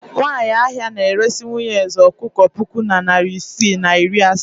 Nwanyị ahịa na-eresi nwunye eze ọkụkọ puku na narị isii na iri asaa.